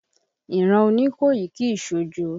Ìran Oníkòyí kìí ṣojo.